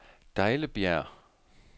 Dejlebjerg